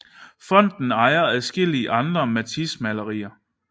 Fonden ejer adskillige andre Matisse malerier